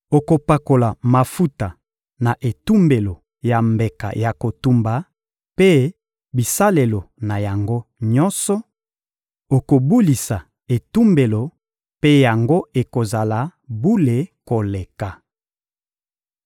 Okopakola mafuta na etumbelo ya mbeka ya kotumba mpe bisalelo na yango nyonso; okobulisa etumbelo mpe yango ekozala bule koleka.